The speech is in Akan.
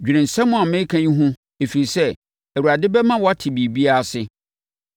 Dwene nsɛm a mereka yi ho ɛfiri sɛ, Awurade bɛma woate biribiara ase.